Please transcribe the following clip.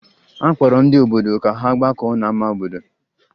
A kpọrọ ndị obodo ka ha gbakọọ n'ama obodo